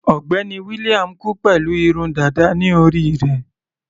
Ọ̀gbẹ́ni William kú pẹ̀lú irun dàda ní orí rẹ̀.